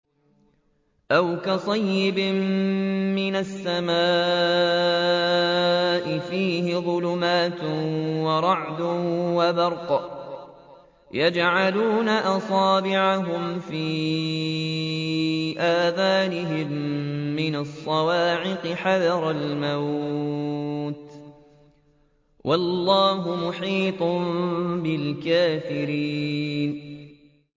أَوْ كَصَيِّبٍ مِّنَ السَّمَاءِ فِيهِ ظُلُمَاتٌ وَرَعْدٌ وَبَرْقٌ يَجْعَلُونَ أَصَابِعَهُمْ فِي آذَانِهِم مِّنَ الصَّوَاعِقِ حَذَرَ الْمَوْتِ ۚ وَاللَّهُ مُحِيطٌ بِالْكَافِرِينَ